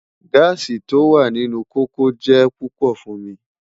Gaasi ti o wa ninu koko jẹ pupọ fun mi